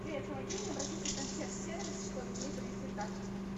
привет помоги мне обратиться в консьерж сервис чтобы мне принесли тапочки